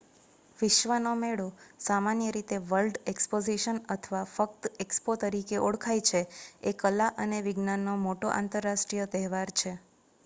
વિશ્વનો મેળો સામાન્ય રીતે વર્લ્ડ એક્સપોઝિશન અથવા ફક્ત એક્સપો તરીકે ઓળખાય છે એ કલા અને વિજ્ઞાનનો મોટો આંતરરાષ્ટ્રીય તહેવાર છે